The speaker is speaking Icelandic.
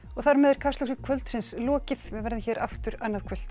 þar með er Kastljósi kvöldsins lokið við verðum hér aftur annað kvöld